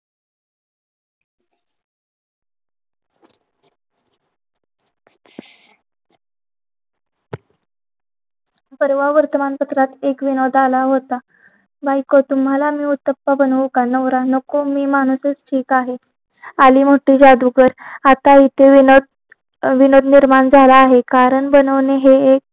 परवा वर्तमानपत्रात एक विनोद आला होता बायको तुम्हाला मी उतप्पा बनवू का नवरा नको मी माणूस आहे ठीक आहे आली मोठी जादूगर आता युती विनय बोलत निर्माण झाला आहे कारण बनवले हे एक